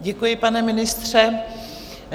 Děkuji, pane ministře.